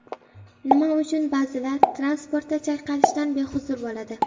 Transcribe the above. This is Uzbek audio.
Nima uchun ba’zilar transportda chayqalishdan behuzur bo‘ladi?.